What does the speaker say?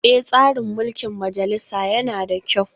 Eh, tsarin mulkin majalisa yana da kyau